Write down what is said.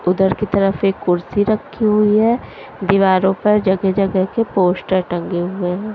उधर की तरफ एक कुर्सी रखी हुई है दीवारों पर जगह जगह के पोस्टर टंगे हुए हैं।